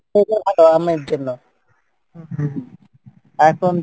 আমের জন্য এখন